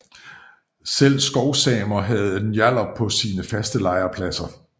Selv skovsamer havde njallar på sine faste lejrpladser